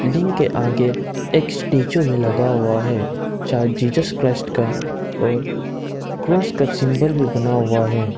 Building के आगे एक स्टेच्यू भी लगा हुआ है शायद जीसस क्राइस्ट का और क्रॉस का सिंबल भी बना हुआ है।